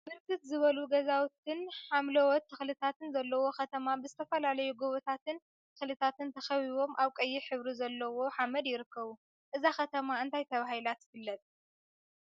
ብርክት ዝበሉ ገዛውቲን ሓምለዎት ተክሊታትን ዘለዎ ከተማ ብዝተፈላለዩ ጎቦታትን ተክሊታን ተከቢቦም አብ ቀይሕ ሕብሪ ዘለዎ ሓመድ ይርከቡ፡፡ እዛ ከተማ እንታይ ተባሂላ ትፍለጥ?